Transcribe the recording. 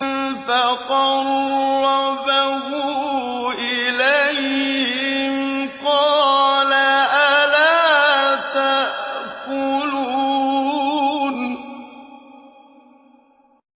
فَقَرَّبَهُ إِلَيْهِمْ قَالَ أَلَا تَأْكُلُونَ